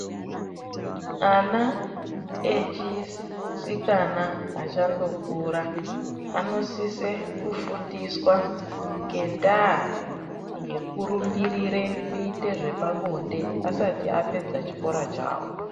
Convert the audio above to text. Ana echisikana achandokura anosise kufundiswa ngendaa yekurumbirire kuite zvepabonde asati apedze chikora chawo.